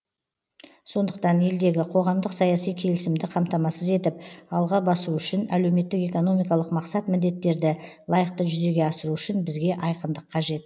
сондықтан елдегі қоғамдық саяси келісімді қамтамасыз етіп алға басу үшін әлеуметтік экономикалық мақсат міндеттерді лайықты жүзеге асыру үшін бізге айқындық қажет